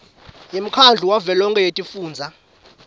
yemkhandlu wavelonkhe wetifundza